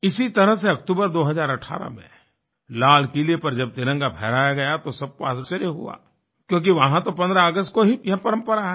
इसी तरह से अक्टूबर 2018 में लाल किले पर जब तिरंगा फहराया गया तो सबको आश्चर्य हुआ क्योंकि वहाँ तो 15 अगस्त को ही यह परम्परा है